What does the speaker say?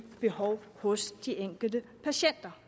behov hos de enkelte patienter